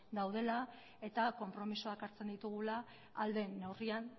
daudela eta konpromisoak hartzen ditugula ahal den neurrian